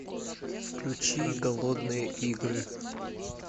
включи голодные игры